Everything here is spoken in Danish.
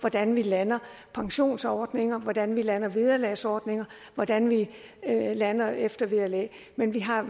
hvordan vi lander pensionsordninger hvordan vi lander vederlagsordninger hvordan vi lander eftervederlag men vi har